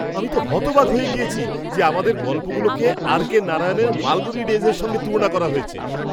আমি তো হতবাক হয়ে গিয়েছি যে আমাদের গল্পগুলোকে আর.কে নারায়ণের মালগুড়ি ডেইজের সঙ্গে তুলনা করা হয়েছে!